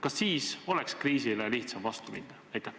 Kas siis oleks kriisile lihtsam vastu minna?